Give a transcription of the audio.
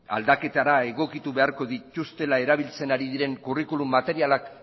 aldaketara egokitu beharko dituztela erabiltzen ari diren curriculum materialak